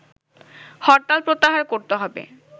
হরতাল প্রত্যাহার করতে হবে